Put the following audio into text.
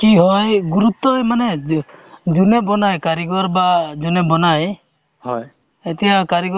PACS অ মই data entry ৰ কাম কৰো যেনে তোমাৰ RCS ৰ কাম কৰি আছো to মানে কি RCS ৰ যেনেকে তোমাৰ